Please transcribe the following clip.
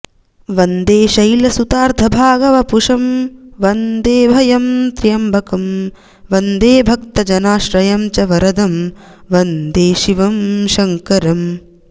वन्दे शैलसुतार्धभागवपुषं वन्देऽभयं त्र्यम्बकं वन्दे भक्तजनाश्रयं च वरदं वन्दे शिवं शङ्करम्